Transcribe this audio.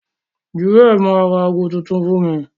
Jewel ma ra agọ tuntun fún mí.